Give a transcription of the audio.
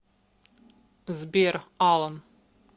сбер алан